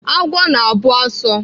Agwọ na-abụ asụ.